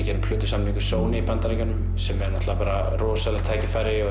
gerðum plötusamning við Sony í Bandaríkjunum sem er náttúrulega rosalegt tækifæri og